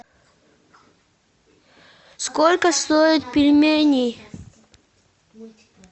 сколько стоят пельмени